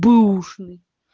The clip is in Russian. бэушный